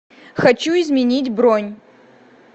хочу изменить бронь